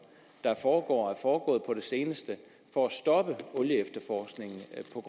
der foregår og foregået på det seneste for at stoppe olieefterforskningen